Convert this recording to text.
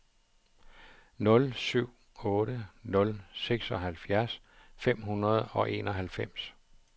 nul syv otte nul seksoghalvfjerds fem hundrede og enoghalvfems